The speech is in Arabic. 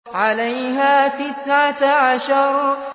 عَلَيْهَا تِسْعَةَ عَشَرَ